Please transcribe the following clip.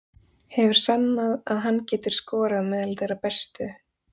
Hefur sannað að hann getur skorað meðal þeirra bestu.